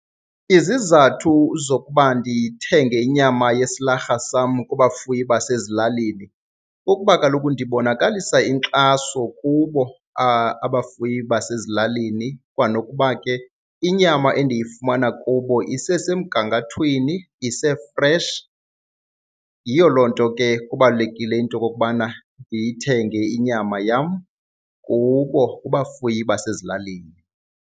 Izizathu zokuba ndithenge inyama yesilarha sam kubafuyi basezilalini kukuba kaloku ndibonakalisa inkxaso kubo abafuyi basezilalini kwanokuba ke inyama endiyifumana kubo isesemgangathweni, isefreshi. Yiyo loo nto ke kubalulekile into okokubana ndiyithenge inyama yam kubo, kubafuyi basezilalini.